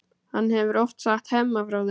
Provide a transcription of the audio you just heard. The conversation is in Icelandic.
Hann hefur oft sagt Hemma frá þeim.